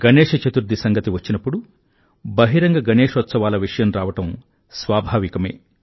గణేశ చతుర్థి సంగతి వచ్చినప్పుడు బహిరంగగణేశోత్సవాల విషయం రావడం స్వాభావికమే